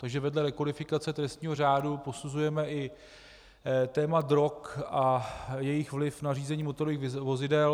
Takže vedle rekodifikace trestního řádu posuzujeme i téma drog a jejich vliv na řízení motorových vozidel.